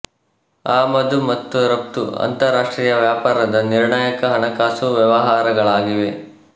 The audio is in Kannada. ಆಮದು ಮತ್ತು ರಫ್ತು ಅಂತಾರಾಷ್ಟ್ರೀಯ ವ್ಯಾಪಾರದ ನಿರ್ಣಾಯಕ ಹಣಕಾಸು ವ್ಯವಹಾರಗಳಾಗಿವೆ